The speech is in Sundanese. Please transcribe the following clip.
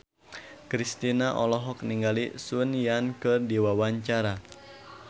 Kristina olohok ningali Sun Yang keur diwawancara